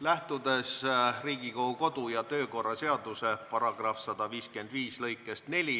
Lähtudes Riigikogu kodu- ja töökorra seaduse § 155 lõikest 4,